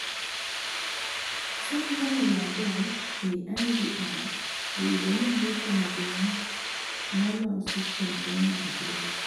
somo Bangladesh ei IVR oyudo ni yuto maduong nolosi kuom primary grades